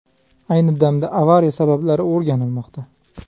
Ayni damda avariya sabablari o‘rganilmoqda.